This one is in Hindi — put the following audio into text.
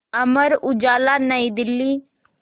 अमर उजाला नई दिल्ली